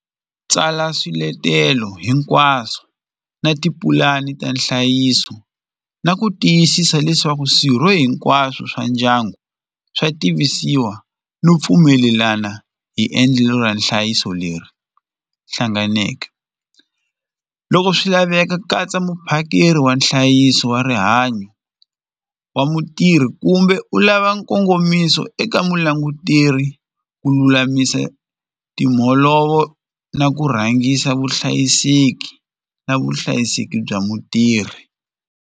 Tsala swiletelo hinkwaswo na tipulani ta nhlayiso na ku tiyisisa leswaku swirho hinkwaswo swa ndyangu swa tivisiwa no pfumelelana hi endlelo ra nhlayiso leri hlanganeke loko swi laveka ku katsa muphakeri wa nhlayiso wa rihanyo wa mutirhi kumbe u lava nkongomiso eka vulanguteri ku lulamisa timholovo na ku rhangisa vuhlayiseki na vuhlayiseki bya mutirhi.